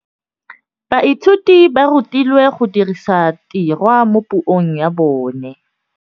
Baithuti ba rutilwe go dirisa tirwa mo puong ya bone.